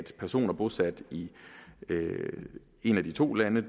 personer bosat i et af de to lande